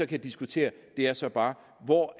kan diskutere er så bare hvor